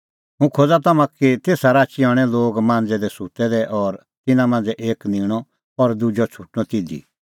हुंह खोज़ा तम्हां का कि तेसा राची हणैं लोग मांज़ै दी सुत्तै दै और तिन्नां मांझ़ै एक निंणअ और दुजअ छ़ुटणअ तिधी